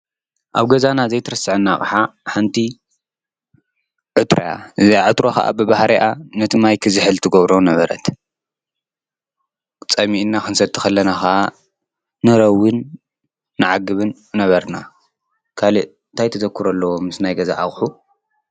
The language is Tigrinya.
ኣብ ገዛና ዘይትረስዐና ኣቅሓ ሓንቲ ዕትሮ አያ። እዛ ዕትሮ ኸኣ ብባህርእያ ነቲ ማይክ ክዝህል ትጐብሮ ነበረት። ጸሚእና ኽንሰቲ ኸለና ኸዓ ንረውን ንዓግብን ነበርና ካሊእ እንታይ ተዘክሮ ኣለዎ ምስ ናይ ገዛ ኣቐሑ?